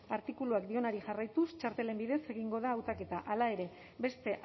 artikuluak dioenari jarraituz txartelen bidez egingo da hautaketa hala ere beste